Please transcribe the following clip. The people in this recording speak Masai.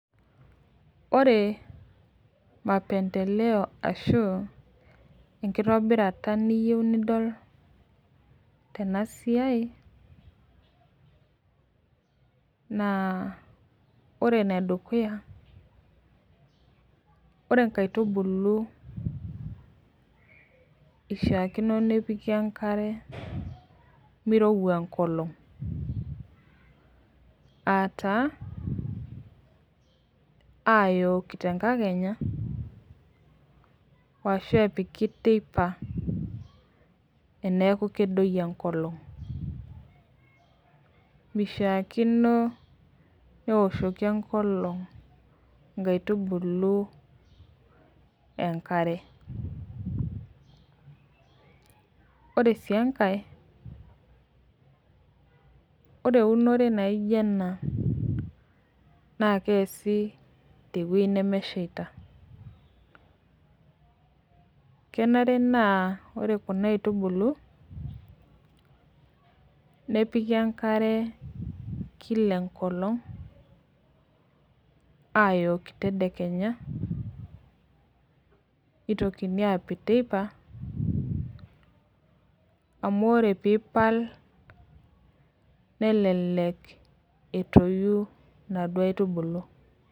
Ore mapemdeleo ashu enkitobirata niyeu nidol tenasia na ore enedukuya ore nkaitubulu ishaakino nepiki emkare mirowja enkolong ataa ayoki tenkakenya ashu epiki teipa eneeku kedoyio enkolong mishakino neoshoki enkolong nkaitubulu enkare ore si enkae ore eunore naijo ena na keasi tewoi nemeshaita kenare naa ore kuna aitubulu nepiki emkare kila enkolong ayoki tedekenya nitokini apik teipa amu ore pipal nelelek etoyu naduo aitubulu.